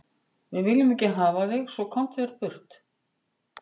Við viljum ekki hafa þig svo, komdu þér burt.